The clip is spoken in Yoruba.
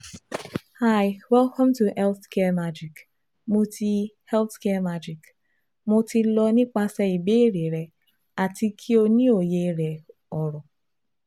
Hi Welcome to healthcaremagicMo ti [cshealthcaremagicMo ti lọ nipasẹ ibeere rẹ ati ki o ni oye rẹ oro